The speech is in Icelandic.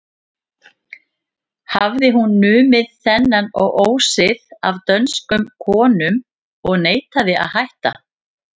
Hafði hún numið þennan ósið af dönskum konum og neitaði að hætta.